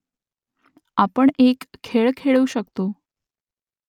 आपण एक खेळ खेळू शकतो